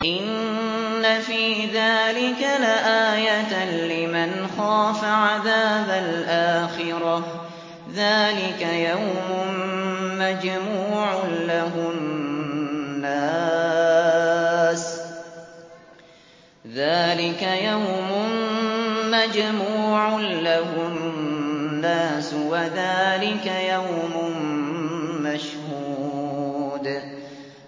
إِنَّ فِي ذَٰلِكَ لَآيَةً لِّمَنْ خَافَ عَذَابَ الْآخِرَةِ ۚ ذَٰلِكَ يَوْمٌ مَّجْمُوعٌ لَّهُ النَّاسُ وَذَٰلِكَ يَوْمٌ مَّشْهُودٌ